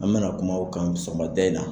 An mana kuma kan sɔgɔmada in na.